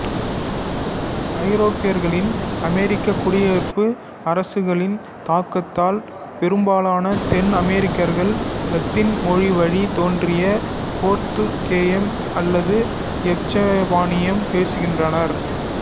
ஐரோப்பியர்களின் அமெரிக்கக் குடியேற்ற அரசுகளின் தாக்கத்தால் பெரும்பாலான தென் அமெரிக்கர்கள் இலத்தீன் மொழிவழி தோன்றிய போர்த்துகேயம் அல்லது எசுப்பானியம் பேசுகின்றனர்